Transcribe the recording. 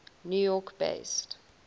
new york based